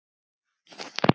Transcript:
Má þetta?